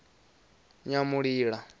nyamulila